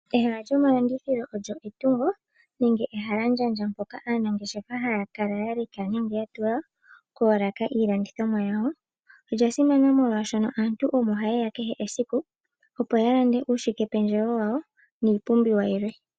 Ehala lyomalandithilo olyo etungo nenge ehalandjandja mpoka aanangeshefa haya kala ya leka nenge ya tula koolaka iilandithomwa yawo. Olya simana, molwashoka aantu omo haye ya kehe esiku opo ya lande uushikependjewo wawo niipumbiiwa yilwe.